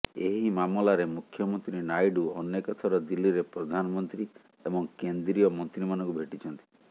ଏହି ମାମଲାରେ ମୁଖ୍ୟମନ୍ତ୍ରୀ ନାଇଡ଼ୁ ଅନେକ ଥର ଦିଲ୍ଲୀରେ ପ୍ରଧାନମନ୍ତ୍ରୀ ଏବଂ କେନ୍ଦ୍ରୀୟ ମନ୍ତ୍ରୀମାନଙ୍କୁ ଭେଟିଛନ୍ତି